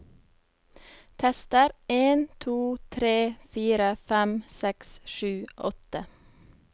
Tester en to tre fire fem seks sju åtte